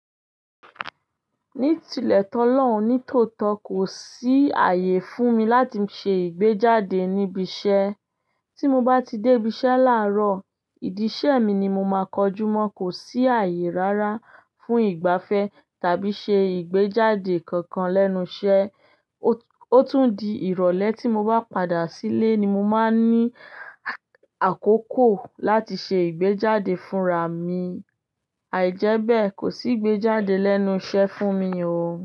Ní tilẹ̀ tó lọ̀hun nítòótọ́ kò sí ààyè fún mi láti ṣe ìgbéjáde níbi iṣẹ́. Tí mo bá ti dé ibi iṣẹ́ láàárọ̀, ìdí iṣẹ́ mi ni mo máa kọjú mọ́. Kò sí ààyè rárá fún ìgbafẹ́ tàbí ṣe ìgbéjáde kankan lẹ́nu iṣẹ́. Ó tún di ìrọ̀lẹ́ tí mo bá padà sílé ni mo máa ní akókò láti ṣe ìgbéjáde fúnra mi. Àìjẹ́bẹ́ẹ̀ kò sí ìgbéjáde lẹ́nu iṣẹ́ fún mi o.